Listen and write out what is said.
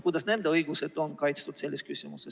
Kuidas nende õigused on kaitstud?